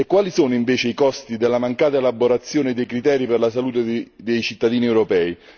E quali sono invece i costi della mancata elaborazione dei criteri per la salute dei cittadini europei?